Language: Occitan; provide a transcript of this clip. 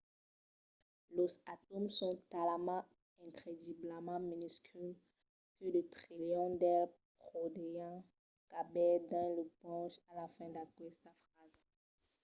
los atòms son talament incrediblament minusculs que de trilions d’eles podrián caber dins lo ponch a la fin d’aquesta frasa